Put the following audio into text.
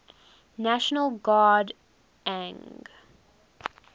national guard ang